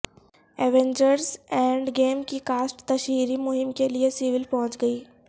Avengers end game کی کاسٹ تشہیری مہم کیلئے سیول پہنچ گئی